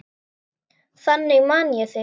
Þannig man ég þig.